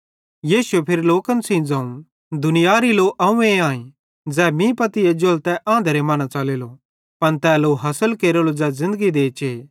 यीशुए फिरी लोकन सेइं ज़ोवं दुनियारी लो अव्वें आईं ज़ै मीं पत्ती एज्जेलो त तै आंधरे मां न च़लेलो पन तै लो हासिल केरेलो ज़ै ज़िन्दगरी देचे